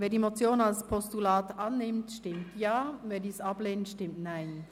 Wer die Motion als Postulat annimmt, stimmt Ja, wer dies ablehnt, stimmt Nein.